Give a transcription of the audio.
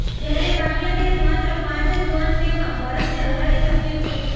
જ્યારે બાંગ્લાદેશ માત્ર પાંચ જ વન ડેમાં ભારતને હરાવી શક્યું છે